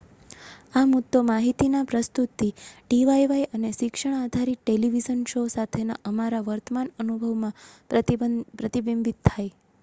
આ મુદ્દો માહિતીના પ્રસ્તુતિ ડીવાયવાય અને શિક્ષણ આધારિત ટેલિવિઝન શો સાથેના અમારા વર્તમાન અનુભવમાં પ્રતિબિંબિત થાય